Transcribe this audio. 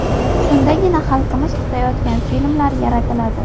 Shundagina xalqimiz kutayotgan filmlar yaratiladi.